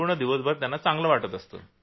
दिवसभरात त्याना चांगलं वाटतं